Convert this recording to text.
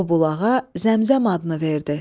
O bulağa Zəmzəm adını verdi.